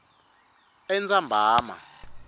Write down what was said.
entsambama